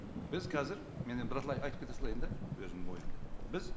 біз қазір мен енді бірталай айтып кете салайын да өзімнің ойымды біз